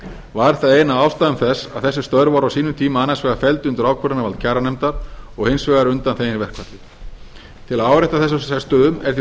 var það ein af ástæðum þess að þessi störf voru á sínum tíma annars vegar felld undir ákvörðunarvald kjaranefndar og hins vegar undanþegin verkfalli til að árétta þessa sérstöðu er því